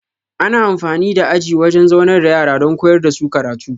Ana amfani da aji wajan zaunar da yara don koyar dasu karatu